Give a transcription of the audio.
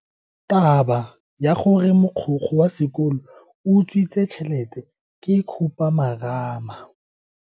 Taba ya gore mogokgo wa sekolo o utswitse tšhelete ke khupamarama.